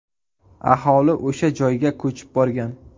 Aholi o‘sha joyga ko‘chib borgan.